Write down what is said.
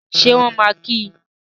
Ṣé wọ́n máa kí í?